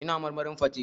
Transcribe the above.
Ina marmarin fate.